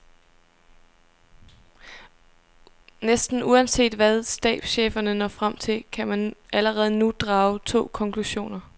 Næsten uanset hvad stabscheferne når frem til, kan man allerede nu drage to konklusioner.